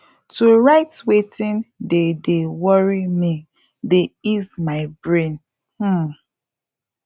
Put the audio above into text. to write wetin dey dey worry me dey ease my brain um